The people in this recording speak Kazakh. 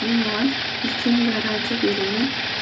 мен оған үлкен гарантия беремін